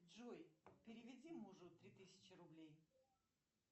джой переведи мужу три тысячи рублей